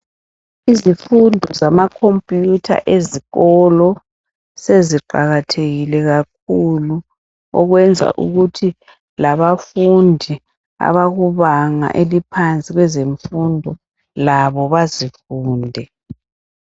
Izifundo zamakhompuyutha ezikolo seziqakathekile kakhulu okwenza ukuthi labafundi abakubanga laphansi kwezemfundo bazifunde.